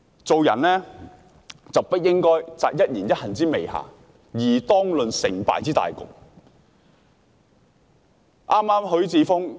做人不應摘一言一行之微瑕，而當論成敗之大局。